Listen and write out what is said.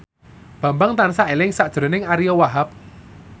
Bambang tansah eling sakjroning Ariyo Wahab